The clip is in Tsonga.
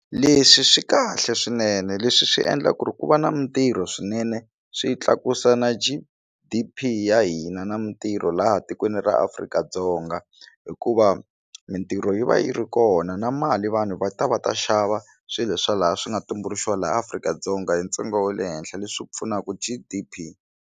Leswi swi kahle swinene leswi swi endla ku ri ku va na mitirho swinene swi tlakusa na G_D_P ya hina na mitirho laha tikweni ra Afrika-Dzonga hikuva mitirho yi va yi ri kona na mali vanhu va ta va ta xava swilo swa laha swi nga tumbuluxiwa laha Afrika-Dzonga hi ntsengo wa le henhla leswi pfunaka G_D_P.